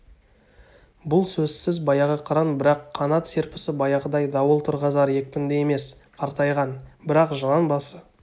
бұл сөзсіз баяғы қыран бірақ қанат серпісі баяғыдай дауыл тұрғызар екпінді емес қартайған бірақ жылан басы